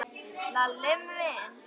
Lalli minn?